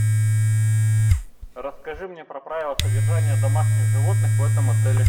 расскажи мне про правила содержания домашних животных в этом отеле